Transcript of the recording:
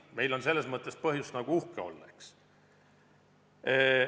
Meil on selles mõttes põhjust uhke olla.